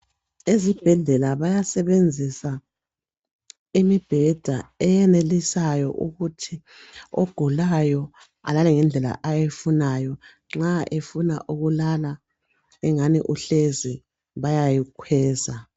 Ezibhedlela bayasebenzisa imibheda eyenelisayo ukuthi ogulayo alale ngendlela ayifunayo nxa efuna ukulala engani uhlezi bayayikweza